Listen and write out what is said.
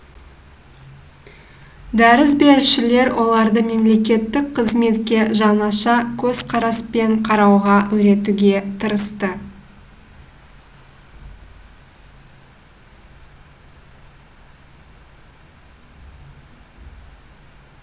дәріс берушілер оларды мемлекеттік қызметке жаңаша көзқараспен қарауға үйретуге тырысты